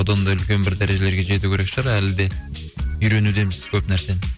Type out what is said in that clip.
одан да үлкен бір дәрежелерге жету керек шығар әлі де үйренудеміз көп нәрсені